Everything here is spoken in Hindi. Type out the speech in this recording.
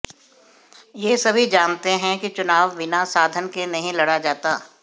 यह सभी जानते हैं कि चुनाव बिना साधन के नहीं लड़ा जाता